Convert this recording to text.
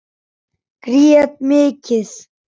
Grét mikið.